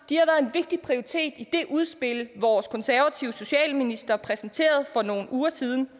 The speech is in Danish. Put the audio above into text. vigtig prioritet i det udspil vores konservative socialminister præsenterede for nogle uger siden